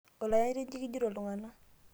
olayanyiti inji kijito iltung'anak